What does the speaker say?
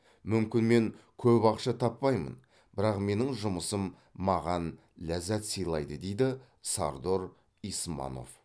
мүмкін мен көп ақша таппаймын бірақ менің жұмысым маған ләззат сыйлайды дейді сардор исманов